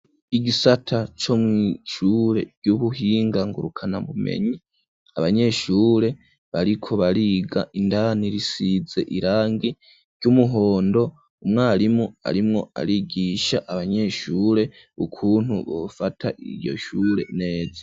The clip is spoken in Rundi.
igisata co mwishure vy'ubuhinga ngurukana bumenyi abanyeshure bariko bariga indani risize irangi ry'umuhondo umwarimu arimwo arigisha abanyeshure ukuntu bufata iyo shure neza.